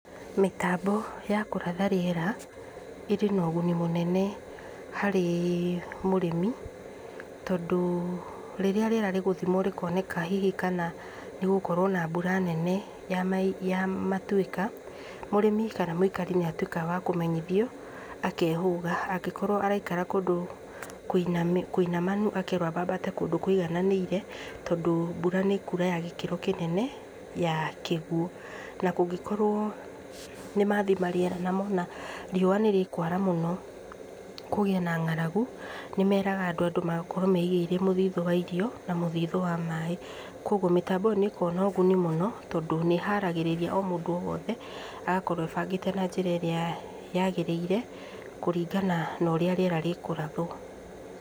Mĩtambo ya kũratha rĩera ĩrĩ na ũguni mũnene harĩ mũrĩmi, tondũ rĩrĩa rĩera rĩgũthimwo rĩkoneka hihi kana nĩ gũgũkoro na mbura nene ya matuĩka, mũrĩmi kana mũikari nĩ atuĩka wa kũmenyithio, akeehũga. Angĩkorwo araikara kũndũ kũinamanu, akerwo ambambate kũndũ kũigananĩire, tondũ mbura nĩ ĩkuura ya gĩkĩro kĩnene, ya kĩguũ. Na kũngĩkorwo nĩ mathima rĩera na mona riũa nĩ rĩkwara mũno, kũgĩe na ngaragu, nĩ meraga andũ andũ makorwo meigĩire mũthithũ wa irio na mũthithũ wa maaĩ. Kwoguo mĩtambo ĩyo nĩ ĩkoragwo na ũguni mũno tondũ nĩ iharagĩrĩria o mũndũ o wothe agakorwo ebangĩte na njĩra ĩrĩa yaagĩrĩire kũringana na ũrĩa rĩera rĩkũrathwo.